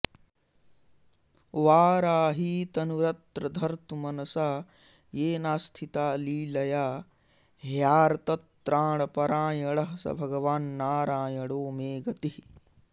वाराही तनुरत्र धर्तुमनसा येनास्थिता लीलया ह्यार्तत्राणपरायणः स भगवान्नारायणो मे गतिः